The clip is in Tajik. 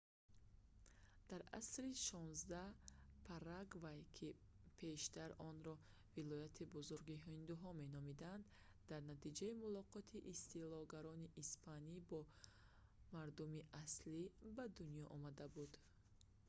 дар асри xvi парагвай ки пештар онро «вилояти бузурги ҳиндуҳо» меномиданд дар натиҷаи мулоқоти истилогарони испанӣ бо мардуми аслӣ ба дунё омада буд